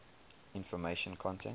information content